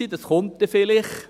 Das kommt dann vielleicht.